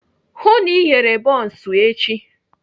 Hụụ na Ị ghere bọns echi!